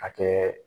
A kɛ